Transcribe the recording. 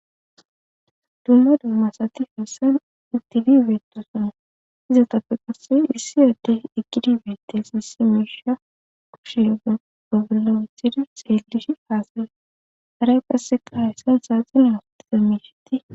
Dumma dummasati hessan itidibeetosona izatappe qasse issi adde ekidibeettes isse mesha kushe ga gobolamethida xeelish aasare haray qasse qa hayssan saaxine hofotiza miishiti.